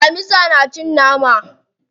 Damisa na cin nama.